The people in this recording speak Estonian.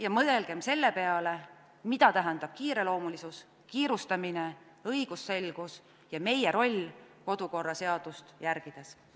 Ja mõelgem selle peale, mida tähendab kiireloomulisus, kiirustamine, õigusselgus ja meie roll kodukorraseadust järgides.